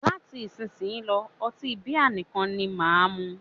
Láti isísìnyí lọ́, ọtí bíà nìkan ni máà mú.